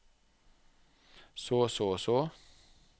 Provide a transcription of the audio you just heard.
så så så